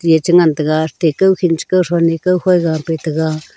ge cha ngantaga atte kau khin cha kau thon ne ko khoi ga pe taga.